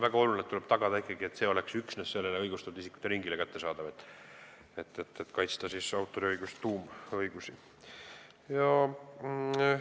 Väga oluline, selleks et kaitsta autoriõiguse tuumõigusi, on see, et tuleb tagada, et see kõik oleks kättesaadav üksnes õigustatud isikute ringile.